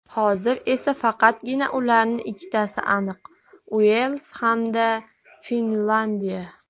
Hozir esa faqatgina ularning ikkitasi aniq: Uels hamda Finlyandiya.